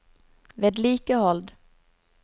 vedlikehold